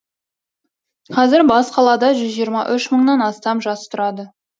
қазір бас қалада жүз жиырма үш мыңнан астам жас тұрады